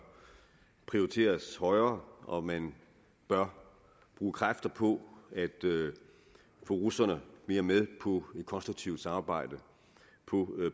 prioriteres højere og at man bør bruge kræfter på at få russerne mere med på et konstruktivt samarbejde